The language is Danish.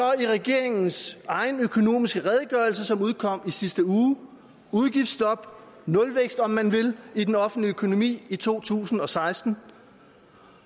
i regeringens egen økonomiske redegørelse som udkom i sidste uge udgiftsstop nulvækst om man vil i den offentlige økonomi i to tusind og seksten